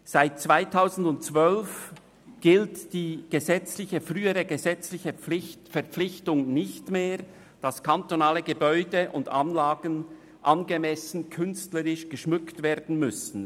Seit 2012 gilt die frühere gesetzliche Verpflichtung nicht mehr, dass kantonale Gebäude und Anlagen angemessen künstlerisch geschmückt werden müssen.